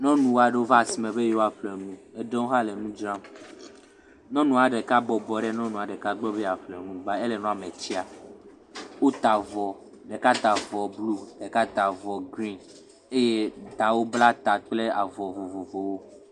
Nyɔnu aɖewo va asime be yewoa ƒle nu. Eɖewo hã le nu dzra. Nyɔnua ɖeka bɔbɔ ɖe nyɔnu ɖeka gbɔ be yeaƒle nu ba ele nua me tsaa. Wota avɔ, ɖeka ta avɔ blu. Ɖeka ta avɔ green eye wo katã wobla ta kple avɔ vovovowo.